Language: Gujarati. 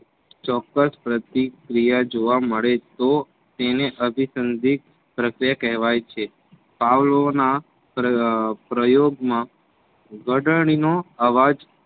ચોક્કસ પ્રતિક્રિયા જોવા મળે તો તેને અભીસંધિક પ્રક્રિયા કહેવાય છે. પાવલોના પ્રયોગમાં ઘંટડીનો અવાજ